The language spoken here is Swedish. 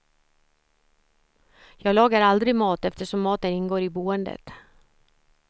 Jag lagar aldrig mat eftersom maten ingår i boendet.